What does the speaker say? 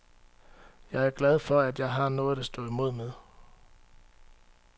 Jeg er glad for, at jeg har noget at stå imod med.